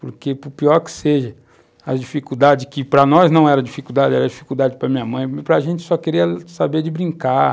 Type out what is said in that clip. Porque, pior que seja, as dificuldades, que para nós não eram dificuldades, eram dificuldades para a minha mãe, para a gente só queria saber de brincar.